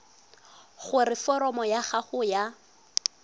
gore foromo ya gago ya